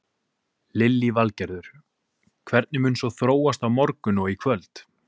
Lillý Valgerður: Hvernig mun svo þróast á morgun og í kvöld?